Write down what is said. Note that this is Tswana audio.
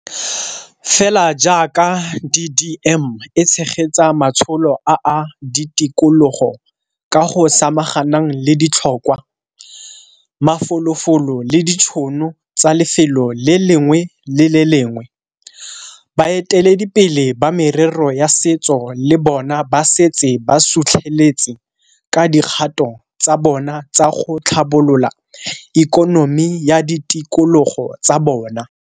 Fela jaaka DDM e tshegetsa matsholo a a ditikologo ka go samaganang le ditlhokwa, mafolofolo le ditšhono tsa lefelo le lengwe le le lengwe, baeteledipele ba merero ya setso le bona ba setse ba sutlheletse ka dikgato tsa bona tsa go tlhabolola ikonomi ya ditikologo tsa bona.